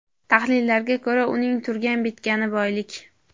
Tahlillarga ko‘ra, uning turgan-bitgani boylik.